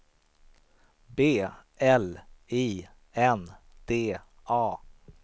B L I N D A